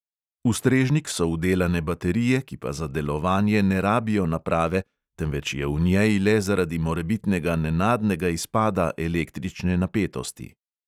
V strežnik so vdelane baterije, ki pa za delovanje ne rabijo naprave, temveč je v njej le zaradi morebitnega nenadnega izpada električne napetosti.